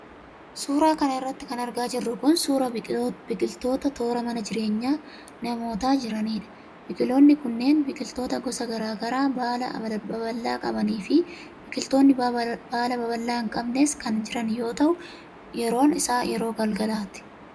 Suura kana irratti kan argaa jirru kun, suura biqiloota toora mana jireenya namootaa jiraniidha. Biqiloonni kun biqiloota gosa garaa garaa baala babal'aa qabanii fi biqiloonni baala babal'aa hin qabnes kan jiran yoo ta'u, yeroon isaa yeroo galgalaati.